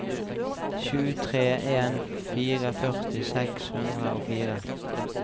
sju tre en fire førti seks hundre og fire